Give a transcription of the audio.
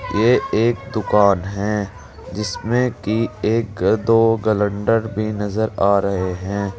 ये एक दुकान है जिसमें कि एक दो कैलेंडर भी नजर आ रहे हैं।